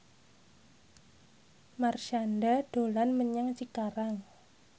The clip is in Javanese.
Marshanda dolan menyang Cikarang